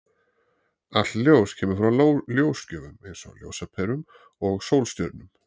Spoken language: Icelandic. Allt ljós kemur frá ljósgjöfum, eins og ljósaperum og sólstjörnum.